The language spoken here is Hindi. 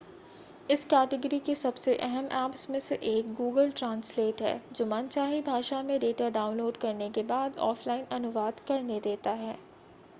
इस कैटेगरी के सबसे अहम ऐप्स में से एक google translate है जो मनचाही भाषा डेटा डाउनलोड करने के बाद ऑफ़लाइन अनुवाद करने देता है